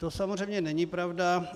To samozřejmě není pravda.